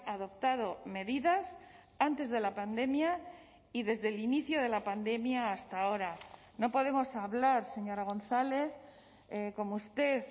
adoptado medidas antes de la pandemia y desde el inicio de la pandemia hasta ahora no podemos hablar señora gonzález como usted